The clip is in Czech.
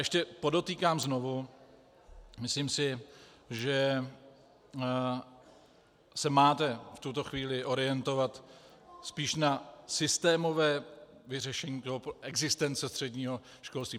Ještě podotýkám znovu - myslím si, že se máte v tuto chvíli orientovat spíše na systémové vyřešení existence středního školství.